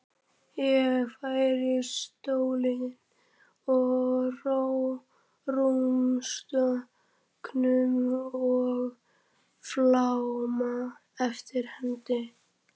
Ég færi stólinn að rúmstokknum og fálma eftir hendi.